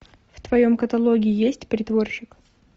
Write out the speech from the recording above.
в твоем каталоге есть притворщик